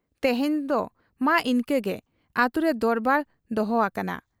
ᱛᱮᱦᱮᱧ ᱫᱚ ᱢᱟ ᱤᱱᱠᱟᱹ ᱜᱮ ᱾ ᱟᱹᱛᱩᱨᱮ ᱫᱚᱨᱵᱟᱨ ᱫᱚᱦᱚ ᱟᱠᱟᱱᱟ ᱾